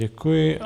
Děkuji.